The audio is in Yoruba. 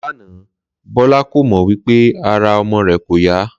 Lánàá, Bó̩lá kò mò̩ wí pé ara o̩mo̩ rè̩ kò yá